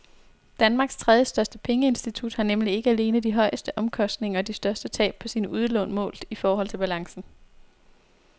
Danmarks tredjestørste pengeinstitut har nemlig ikke alene de højeste omkostninger og de største tab på sine udlån målt i forhold til balancen.